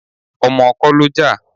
Ọmọ kọ́ ló jà.